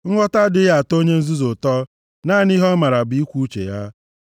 Nghọta adịghị atọ onye nzuzu ụtọ. Naanị ihe ọ maara bụ ikwu uche ya.